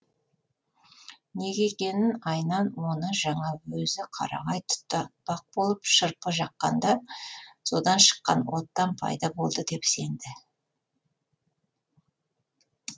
неге екенін айнан оны жаңа өзі қарағай тұтатпақ болып шырпы жаққанда содан шыққан оттан пайда болды деп сенді